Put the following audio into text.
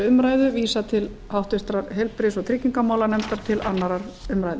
umræðu vísað til háttvirtrar heilbrigðis og tryggingamálanefndar og til annarrar umræðu